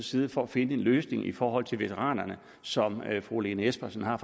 side for at finde en løsning i forhold til veteranerne som fru lene espersen har